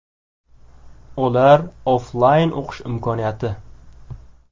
Ular: Offlayn o‘qish imkoniyati.